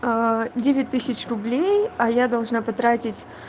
девять тысяч рублей а я должна потратить